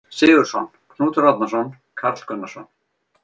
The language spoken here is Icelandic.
Sigurðsson, Knútur Árnason, Karl Gunnarsson